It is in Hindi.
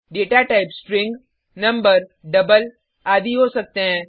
data type string number double आदि हो सकते हैं